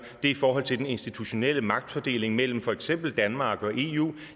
i forhold til den institutionelle magtfordeling mellem for eksempel danmark og eu